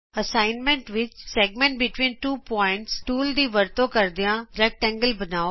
assignment ਵਿਚ segment between two points tool ਦੀ ਵਰਤੋਂ ਕਰਦਿਆਂ ਆਯਤਕਾਰ ਬਣਾਉ